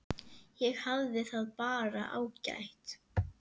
Ég hafði það bara ágætt.